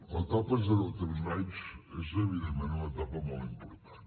l’etapa de zero a tres anys és evidentment una etapa molt important